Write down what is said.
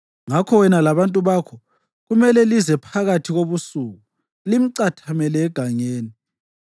Ngakho wena labantu bakho kumele lize phakathi kobusuku limcathamele egangeni.